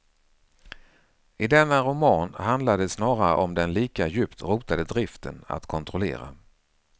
I denna roman handlar det snarare om den lika djupt rotade driften att kontrollera.